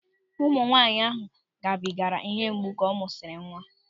Nwaanyị ahụ gabigara ịhe mgbu ka ọ mụsịrị nwa.